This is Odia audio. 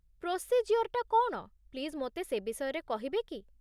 ପ୍ରୋସିଜ୍ୟୋର୍ଟା କ'ଣ, ପ୍ଲିଜ୍ ମୋତେ ସେ ବିଷୟରେ କହିବେ କି?